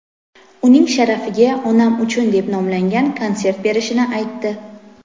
uning sharafiga "Onam uchun" deb nomlangan konsert berishini aytdi.